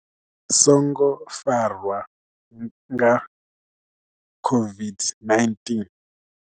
Songo farwa nga COVID-19.